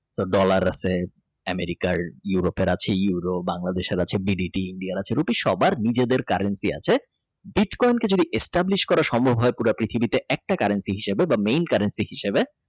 dollar আছে EuropeAmericas আছে EuropeBangladesh আছে BDT এর India এর আছে Rupaye সবার নিজেদের currency আছে কানকে যদি Extrables করা সম্ভব হয় পুরা পৃথিবীতে একটা currency হিসেবে বা মেন currency হিসাবে